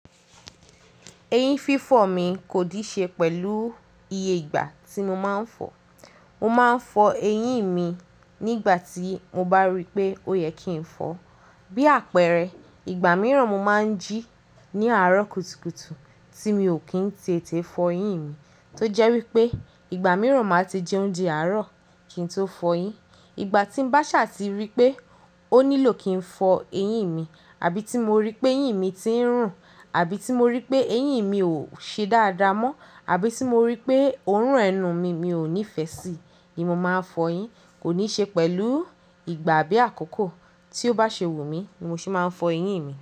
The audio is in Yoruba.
Eyín fífọ̀ mi kò díì ṣe pẹ̀lú iye ìgbà tí mo máa ń fọ̀ o. Mo máa ń fọ eyín mi nígbà tí mo bá rí pé ó yẹ kí n fọ̀ o. Bí àpẹẹrẹ, ìgbà mìíràn mo máa ń jí ní àárọ̀ kùtùkùtù tí mi ò kí ń tètè fọ eyín mi, tó jẹ́ wípé ìgbà mìíràn màá ti jẹ oúnjẹ àárọ̀ kí n tó fọyín. Ìgbà tí ń bá ṣàa ti rí pé ó nílò kí n fọ eyín mi, àbí tí mo rí péyín mi ti ń rùn, àbí tí mo rí pé eyín mi ò ṣe dáadáa mọ́, àbí tí mo rí pé òórùn ẹnu mi, mi ò nífẹ́ sí i, ni mo máa n fọyín. Kò níi ṣe pẹ̀lú ìgbà bí àkókò tí ó bá ṣe wù mí ni mo ṣe máa ń fọ eyín mi.